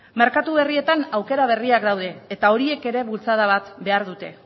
merkatu berrietan aukera berriak daude eta horiek ere bultzada bat behar dute